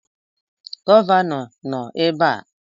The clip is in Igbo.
Gọvanọ nọ ebe a?